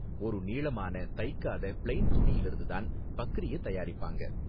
ஒரு நீளமான தைக்காத ப்ளெயின் துணியிலிருந்து தான் பக்ரிய தயாரிப்பாங்க